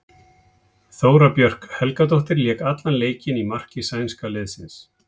Þóra Björg Helgadóttir lék allan leikinn í marki sænska liðsins.